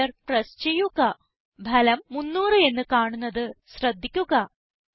enter press ചെയ്യുക ഫലം 300 എന്ന് കാണുന്നത് ശ്രദ്ധിക്കുക